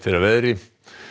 að veðri